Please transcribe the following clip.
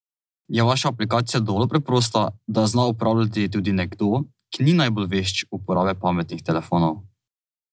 Je vaša aplikacija dovolj preprosta, da jo zna uporabljati tudi nekdo, ki ni najbolj vešč uporabe pametnih telefonov?